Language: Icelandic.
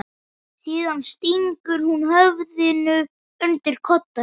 Síðan stingur hún höfðinu undir koddann sinn.